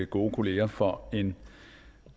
gode kolleger for en